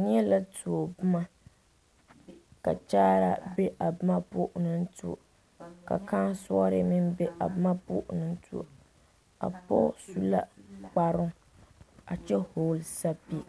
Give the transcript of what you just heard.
Neɛ la tuo boma ka kyaaraa be a boma poɔ o naŋ tuo ka kãã soɔre meŋ be a boma poɔ o naŋ tuo a pɔge du la kpare a kyɛ vɔgle sapili